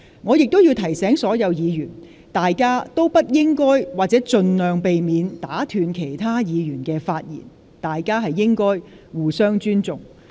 我提醒所有議員，大家不應該或請盡量避免打斷其他議員的發言，彼此應該互相尊重。